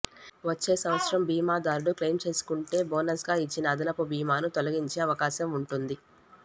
వచ్చే సంవత్సరం బీమాదారుడు క్లెయిం చేసుకుంటే బోనస్గా ఇచ్చిన అదనపు బీమాను తొలగించే అవకాశం ఉంటుంది